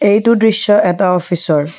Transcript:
এইটো দৃশ্য এটা অফিচ ৰ।